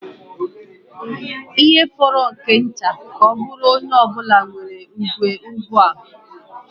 Ihe fọrọ nke nta ka ọ bụrụ onye ọ bụla nwere igwe ugbu a.